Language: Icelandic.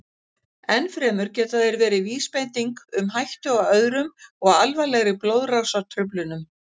Enn fremur geta þeir verið vísbending um hættu á öðrum og alvarlegri blóðrásartruflunum.